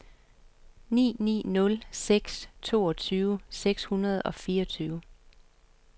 ni ni nul seks toogtyve seks hundrede og fireogtyve